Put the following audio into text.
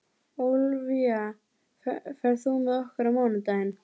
Ólafía, ferð þú með okkur á mánudaginn?